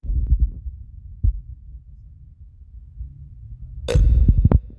erukoto osarge neme enduata olapa.